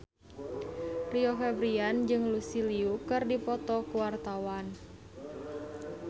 Rio Febrian jeung Lucy Liu keur dipoto ku wartawan